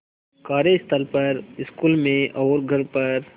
कार्यस्थल पर स्कूल में और घर पर